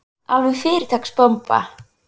Alveg fyrirtaks bomba.